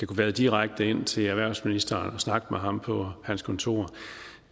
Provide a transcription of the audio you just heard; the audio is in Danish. kan vade direkte ind til erhvervsministeren og snakke med ham på hans kontor